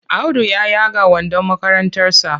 Audu ya yaga wandon makarantarsa.